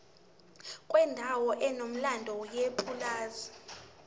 kwendawo enomlando yepulazi